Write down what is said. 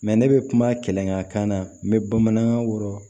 ne bɛ kuma kɛlɛ n'a ye n bɛ bamanankan wɔrɔn